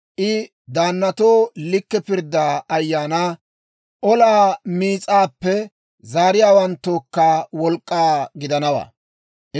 I daannatoo likke pirddiyaa ayaana, olaa miis'aappe zaariyaawanttookka wolk'k'aa gidanawaa.